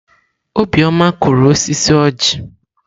Obioma kụrụ osisi ọjị.